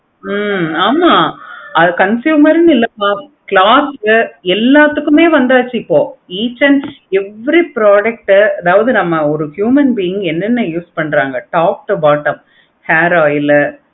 ஹம் ஆமா அது consumer இல்லாம cloth எல்லாத்துக்குமே வந்தாச்சு இப்போ each and every product அதாவது நம்ம ஒரு human being உ use பன்றாங்க top to bottom hair oil உ